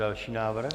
Další návrh?